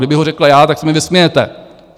Kdybych ho řekl já, tak se mi vysmějete.